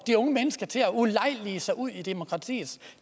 de unge mennesker til at ulejlige sig ud i demokratiets